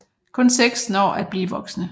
Kun seks når at blive voksne